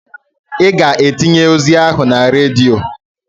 I ga-etinye ozi ahụ na redio.